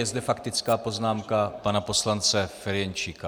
Je zde faktická poznámka pana poslance Ferjenčíka.